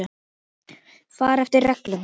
Fara eftir reglum.